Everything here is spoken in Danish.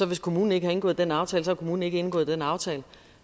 hvis kommunen ikke har indgået den aftale så har kommunen ikke indgået den aftale